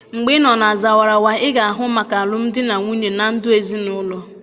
Mgbe ịnọ na Zawarawa ị ga-ahụ maka alụmdi na nwunye na ndụ ezinụlọ.